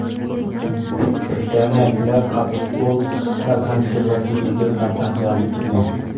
Britaniyaliklar qattiqqo‘l va konservativligi bilan ajralib turgan.